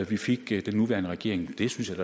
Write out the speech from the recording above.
vi fik den nuværende regering det synes jeg